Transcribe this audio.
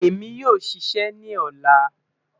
Emi yoo ṣiṣẹ ni ọla